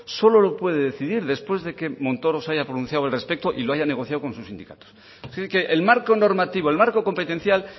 solo lo puede decidir después de que montoro se haya pronunciado al respecto y lo haya negociado con su sindicato así que el marco normativo el marco competencial